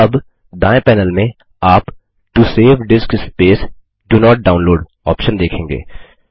अब दायें पैनल में आप to save disk space do not download option देखेंगे